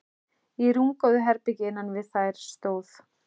Í rúmgóðu herbergi innan við þær stóð